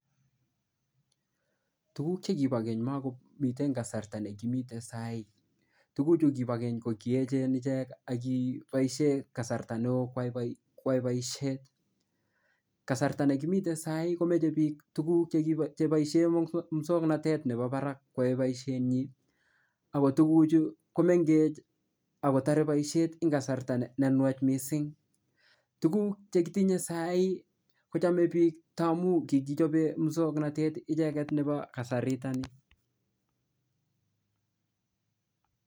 Tuguk chekibokeny makomite kasarta nekimiten sai. Tuguchu kibo keny ko kiechen ichek ak kiboisie kasarta neo kwai boisiet. Kasarta nekimiten saa hii komoche biik tuguk cheboisien muswoknatet nebo barak kwei boisienyi ago tuguchu komengech ak kotare boisiet eng kasarta ne nuach mising. Tuguk chekitinye saa hii kochame biik tamu kikichobe muswoknatet icheget nebo kasariton ni.